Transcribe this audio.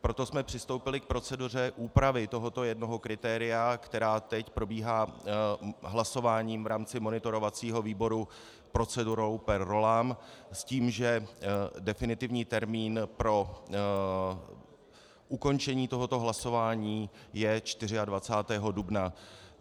Proto jsme přistoupili k proceduře úpravy tohoto jednoho kritéria, která teď probíhá hlasováním v rámci monitorovacího výboru procedurou per rollam s tím, že definitivní termín pro ukončení tohoto hlasování je 24. dubna.